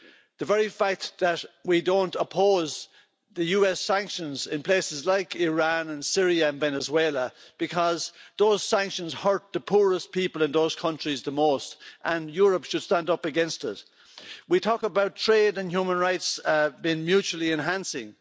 the very fact that we don't oppose US sanctions in places like Iran, Syria and Venezuela because those sanctions hurt the poorest people in those countries the most and Europe should stand up against it. We talk about trade and human rights being mutually enhancing